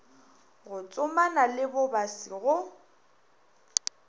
go tsomana le bobasi go